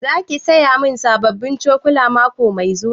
Za ki saya sabbin cokula mako mai zuwa?